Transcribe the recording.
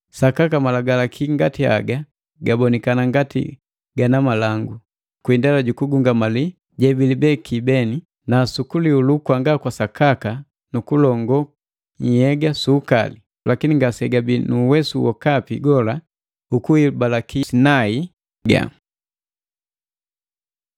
Sakaka malagalaki ngati haga gabonikana ngati gana malangu, kwi indela jukugungamali jebilibeki beni, na su kulihulu kwanga kwasakaka nu kulongoo nhyega su ukali, lakini ngasegabii nu uwesu wokapi gola ukuhibalaki ndokule ya nhyega.